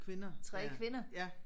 3 kvinder